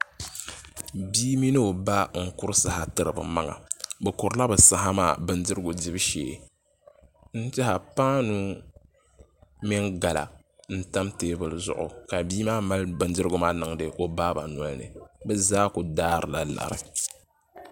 Bia mini o ba n kuri saha tiri bi maŋa bi kurila bi saha maa bindirigu dibu shee n tiɛha paanu mini gala n tam teebuli zuɣu ka bia maa mali bindirigu maa niŋdi o baaba nolini bi zaa ku daarila lari